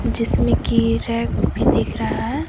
जिसमें की रैक भी दिख रहा है।